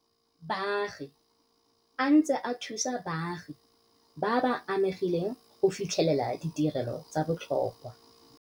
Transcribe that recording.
Baagi a ntse a thusa baagi ba ba amegileng go fitlhelela ditirelo tsa botlhokwa.